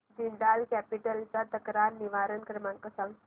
Jindal capital चा तक्रार निवारण क्रमांक सांग